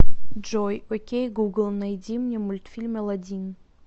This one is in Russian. джой окей гугл найди мне мультфильм аладдин